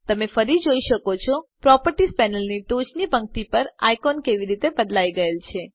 તમે ફરી જોઈ શકો છો પ્રોપર્ટીઝ પેનલની ટોચની પંક્તિ પર આઇકોન કેવી રીતે બદલાય ગયેલ છે